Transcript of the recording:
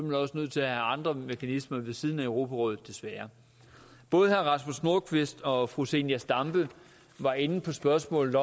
man også nødt til at have andre mekanismer ved siden af europarådet desværre både herre rasmus nordqvist og fru zenia stampe var inde på spørgsmålet